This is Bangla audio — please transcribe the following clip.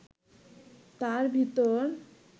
তার ভিতর